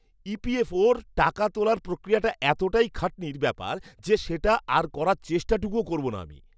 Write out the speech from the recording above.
ইপিএফওর টাকা তোলার প্রক্রিয়াটা এতটাই খাটনির ব্যাপার যে সেটা আর করার চেষ্টাটুকুও করবো না আমি।